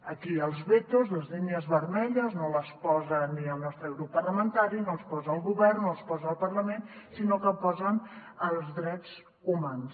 aquí els vetos les línies vermelles no els posa ni el nostre grup parlamentari no els posa el govern no els posa el parlament sinó que els posen els drets humans